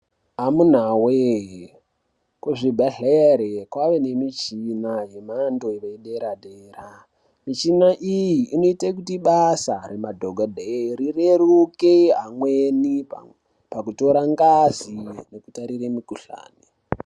Amunawe kuzvibhehleya kwaane michini yemhando yepaderadera michina iyi inoite kuti basa remadhokodheya rireruke amweni pakutora ngazi nepakutarire mukhuhlani.